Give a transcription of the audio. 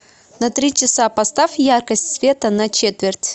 на три часа поставь яркость света на четверть